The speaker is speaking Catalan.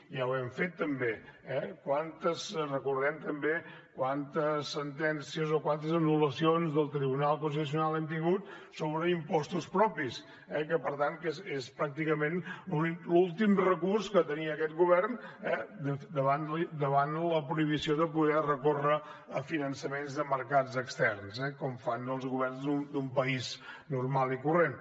ja ho hem fet també eh recordem també quantes sentències o quantes anullacions del tribunal constitucional hem tingut sobre impostos propis eh que per tant és pràcticament l’últim recurs que tenia aquest govern davant la prohibició de poder recórrer a finançaments de mercats externs com fan els governs d’un país normal i corrent